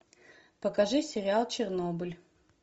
покажи сериал чернобыль